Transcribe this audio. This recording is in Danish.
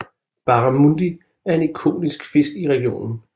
Barramundi er en ikonisk fisk i regionen